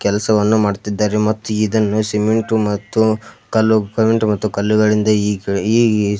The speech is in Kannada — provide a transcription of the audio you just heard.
ಕೆಲಸವನ್ನು ಮಾಡ್ತಿದ್ದಾರೆ ಮತ್ತು ಇದನ್ನು ಸಿಮೆಂಟು ಮತ್ತು ಕಲ್ಲುಗಳಿಂದ ಈ ಈ--